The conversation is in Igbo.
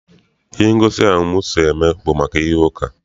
Ihe ngosi ahụ nke m so mee bụ maka ihe uka.